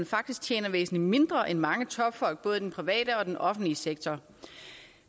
faktisk tjener væsentligt mindre end mange topfolk både i den private og i den offentlige sektor